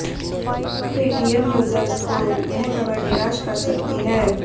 Paytm users को यह खबर निराश कर सकती है